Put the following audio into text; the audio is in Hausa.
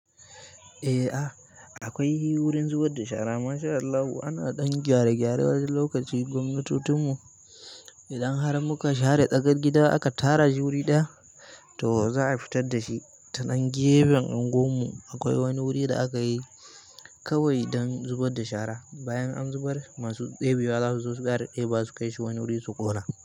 Eh a akwai wurin zubar da shara. MashAllahu ana ɗan gyare-gyare wani lokaci gwamnatotun mu idan har muka share tsakar gida aka tara shi wuri ɗaya to za a fitar da shi. Ta nan gefen unguwar mu akwai wani guri da akayi. Kawai don zubar da shara. Bayan an zubar masu debewa zasu zo su fara debawa su fara debewa su kaishi wani guri su ƙona.